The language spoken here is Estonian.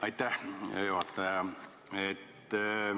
Aitäh, hea juhataja!